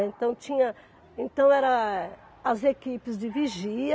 Então tinha, então era as equipes de vigia,